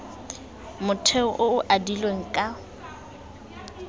motheo o o adilweng ka